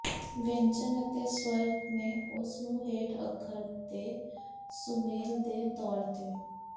ਵਿਅੰਜਨ ਅਤੇ ਸ੍ਵਰ ਨੇ ਉਸ ਨੂੰ ਹੇਠ ਅੱਖਰ ਦੇ ਸੁਮੇਲ ਦੇ ਤੌਰ ਤੇ